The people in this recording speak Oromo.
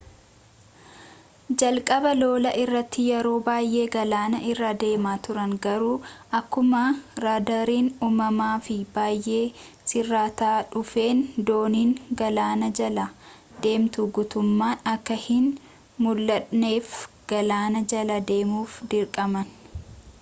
jalqaba lolaa irratti yeroo baayyee galaana irra deemaa turan garuu akkuma raadaariin uumamaa fi bayyee sirrataa dhufeen dooniin galaana jala deemtu guttumman akka hin muldhanneef gaalaana jala deemuuf dirqaman